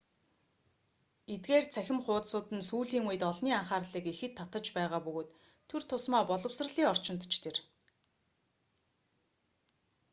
эдгээр цахим хуудсууд нь сүүлийн үед олны анхаарлыг ихэд татаж байгаа бөгөөд тур тусмаа боловсролын орчинд ч тэр